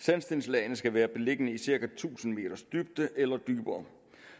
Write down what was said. sandstenslagene skal være beliggende i cirka tusind meters dybde eller dybere